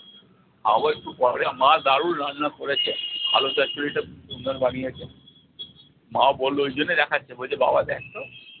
খাবো একটু পরে, মা দারুন রান্না করেছে আলু চচ্চড়ি তা সুন্দর বানিয়েছে মাও বললো ওই জন্য দেখাচ্ছে বলছে বাবা দেখতো